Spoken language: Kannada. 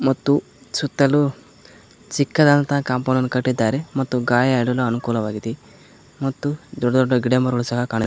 ಮತ್ತು ಸುತ್ತಲೂ ಚಿಕ್ಕದಾದಂತ ಕಾಂಪೌಂಡ್ ಅನ್ನು ಕಟ್ಟಿದ್ದಾರೆ ಮತ್ತು ಗಾಳಿ ಆಡಲು ಅನುಕೂಲವಾಗಿದೆ ಮತ್ತು ದೊಡ್ಡ ದೊಡ್ಡ ಗಿಡ ಮರಗಳು ಸಹ ಕಾಣುತ್ತಿ --